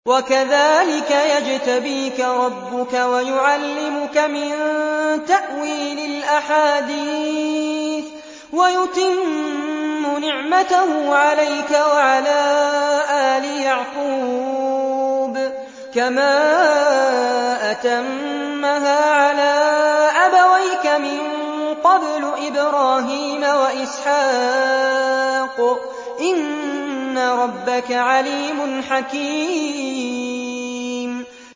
وَكَذَٰلِكَ يَجْتَبِيكَ رَبُّكَ وَيُعَلِّمُكَ مِن تَأْوِيلِ الْأَحَادِيثِ وَيُتِمُّ نِعْمَتَهُ عَلَيْكَ وَعَلَىٰ آلِ يَعْقُوبَ كَمَا أَتَمَّهَا عَلَىٰ أَبَوَيْكَ مِن قَبْلُ إِبْرَاهِيمَ وَإِسْحَاقَ ۚ إِنَّ رَبَّكَ عَلِيمٌ حَكِيمٌ